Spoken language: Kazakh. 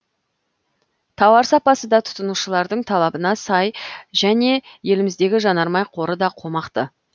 тауар сапасы да тұтынушылардың талабына сай және еліміздегі жанармай қоры да қомақты